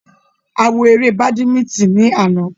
A wo ere badimítìn ní àná